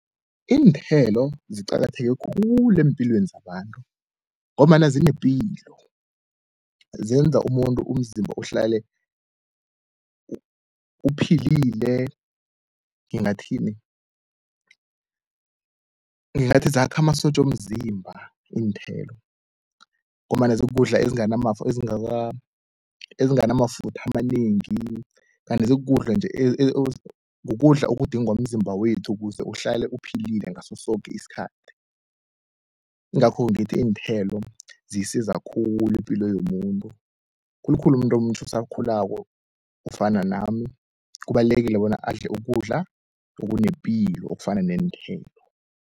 Iinthelo ziqakatheke khulu empilweni zabantu ngombana zinepilo. Zenza umuntu umzimba uhlale uphilile ngingathini, ngingathi zakha amasotja womzimba iinthelo, ngombana zikukudla ezinganamafutha amanengi kanti zikukudla nje kukudla okudingwa mzimba wethu ukuze uhlale uphilile ngaso soke isikhathi. Ingakho ngithi iinthelo ziyisiza khulu ipilo yomuntu, khulukhulu umuntu omutjha osakhulako ofana nami, kubalulekile bona adle ukudla okunepilo okufana neenthelo.